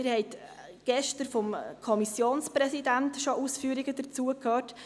wir haben dazu gestern schon Ausführungen des Kommissionspräsidenten gehört: